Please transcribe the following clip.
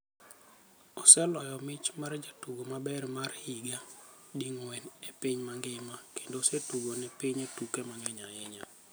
Oseloyo mich mar jatugo maber mar higa ding'wen e piny mangima, kendo osetugo ne pinye tuke mang'eny ahinya.